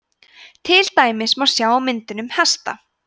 til dæmis má sjá á myndunum hesta